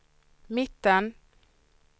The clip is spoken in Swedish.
mitten